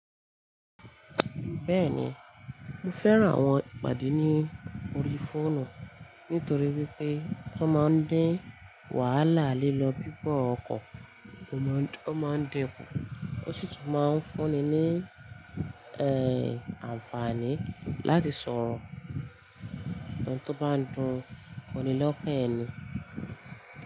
Bẹ́ẹ̀ni, mo fẹ́ran àwọn ìpàdé ní orí fóònù nítorí wípé wọ́n máa ń dín wàhálà lílọ bíbọ̀ ọkọ̀ kù, ó máa ń dinku, ó sì tún máa ń fúnni ní àǹfààní láti sọ̀rọ̀ ohun tó bá n dùnní lọ́kan ẹni.